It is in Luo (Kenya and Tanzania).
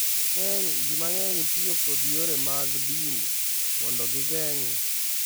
Ji mang’eny tiyo kod yore mag din mondo gigeng’ nyangu.